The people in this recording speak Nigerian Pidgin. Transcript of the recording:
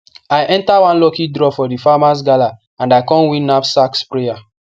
i enter one lucky draw for di farmers gala and i con win knapsack sprayer